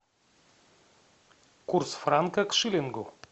курс франка к шиллингу